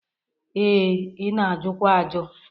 Ee, ị na-ajụkwa ajụ.